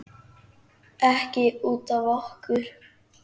Ekki út af okkur.